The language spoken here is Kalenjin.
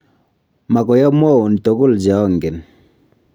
Mokoi amwaun togul che angen.